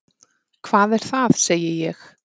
Hvað er það? segi ég.